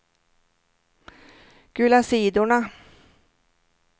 gula sidorna